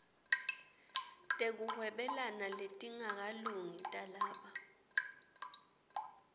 tekuhwebelana letingakalungi talaba